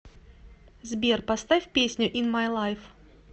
сбер поставь песню ин май лайф